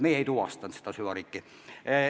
Meie ei tuvastanud seda süvariiki.